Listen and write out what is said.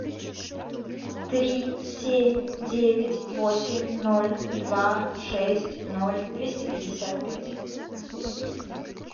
три семь девять восемь ноль два шесть ноль двести пятьдесят пять